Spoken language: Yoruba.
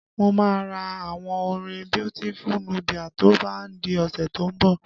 Mo máa ra àwo orin Beautiful Nubia to bá di ọ̀sẹ̀ tó ń bọ̀